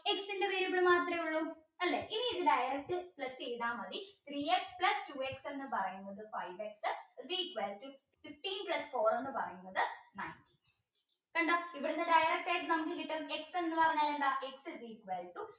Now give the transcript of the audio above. ഇനി ഇത് direct plus ചെയ്ത മതി three x plus two x ന്ന് പറയുന്നത് five x is equal to fifteen plus four ന്ന് പറയുന്നത് nine കണ്ടോ ഇവിടുന്ന് direct ആയിട്ട് നമുക്ക് കിട്ടും X ന്ന് പറഞ്ഞാൽ എന്താ x is euqal to